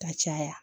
Ka caya